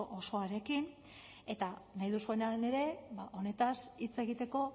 osoarekin eta nahi duzuenean ere ba honetaz hitz egiteko